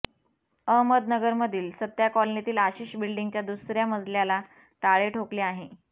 अहमदनगरमधील सथ्था कॉलनीतील आशिष बिल्डींगच्या दुसऱ्या मजल्याला टाळे ठोकले आहे